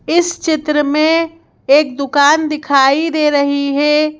इस चित्र में एक दुकान दिखाई दे रही है।